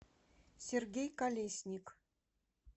сергей колесник